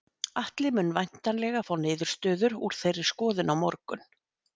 Atli mun væntanlega fá niðurstöður úr þeirri skoðun á morgun.